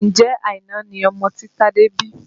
Ǹjẹ́ Àìná ni ọmọ tí Tade bí?